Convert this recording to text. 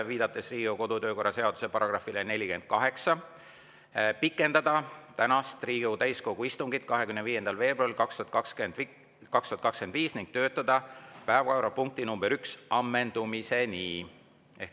Viidates Riigikogu kodu‑ ja töökorra seaduse §‑le 48, pikendada tänast, 25. veebruari 2025. aasta Riigikogu täiskogu istungit ning töötada päevakorrapunkti nr 1 ammendumiseni.